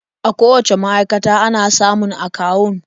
A kowacce ma'aikata ana samun akawun.